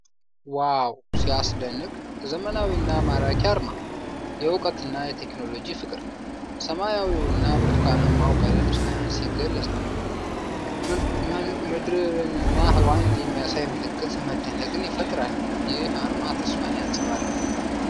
ዋው ሲያስደንቅ! ዘመናዊና ማራኪ አርማ! የእውቀትና የቴክኖሎጂ ፍቅር! ሰማያዊውና ብርቱካናማው ቀለም ሳይንስን ይገልጻል። ምድርንና ህዋን የሚያሳይ ምልክት መደነቅን ይፈጥራል። ይህ አርማ ተስፋን ያንፀባርቃል።